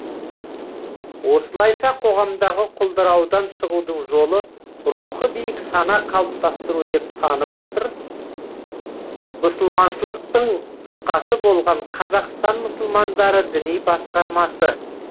осылайша қоғамдағы құлдыраудан шығудың жолы рухы биік сана қалыптастыру деп танып отыр мұсылманшылықтың тұтқасы болған қазақстан мұсылмандары діни басқармасы